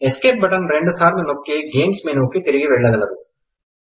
escape button రెండు సార్లు నొక్కి గేమ్స్ మెనుకు తిరిగి వెళ్లగలరు